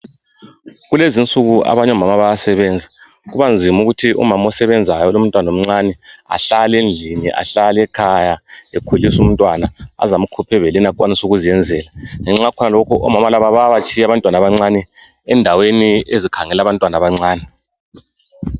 Kulezinsuku abanyomama bayasebenza. Kubanzimukuthi umamosebenzayo olomntwana omncane ahlalendlini ahlalekhaya ekhulisumntwana azamkhuphebeleni akwanisukuzenzela. Ngenxa yakhonalokho omama laba bayabatshiyabantwana abancane endaweni ezikhangela abantwanabancane.